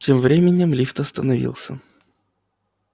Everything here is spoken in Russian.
тем временем лифт остановился